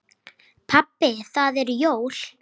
Pabbi það eru jól.